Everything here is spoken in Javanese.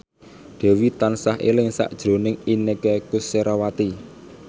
Dewi tansah eling sakjroning Inneke Koesherawati